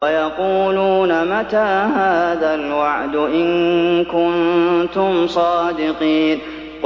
وَيَقُولُونَ مَتَىٰ هَٰذَا الْوَعْدُ إِن كُنتُمْ صَادِقِينَ